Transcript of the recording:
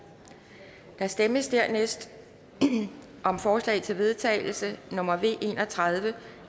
der stemmes dernæst om forslag til vedtagelse nummer v en og tredive